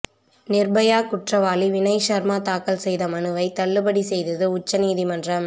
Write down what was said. நிர்பயா குற்றவாளி வினய் சர்மா தாக்கல் செய்த மனுவை தள்ளுபடி செய்தது உச்சநீதிமன்றம்